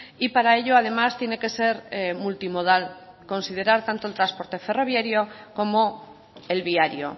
y para ello además tiene que ser multimodal considerar tanto el transporte ferroviario como el viario